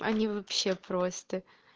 они вообще просто